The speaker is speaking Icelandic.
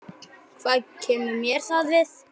Hvað kemur mér það við?